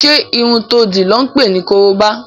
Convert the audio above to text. Ṣé irun to dì lọ́ ǹ pè ní korobá?